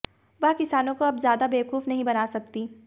वह किसानों को अब ज्यादा बेवकूफ नहीं बना सकती